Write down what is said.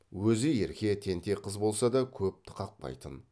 өзі ерке тентек қыз болса да көпті қақпайтын